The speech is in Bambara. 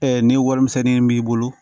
ni warimisɛnnin b'i bolo